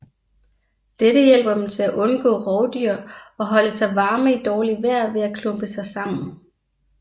Dette hjælper dem til at undgå rovdyr og holde sig varme i dårligt vejr ved at klumpe sig sammen